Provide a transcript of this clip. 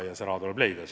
Ja see raha tuleb leida.